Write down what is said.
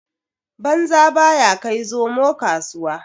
Banza baya kai zomo kasuwa.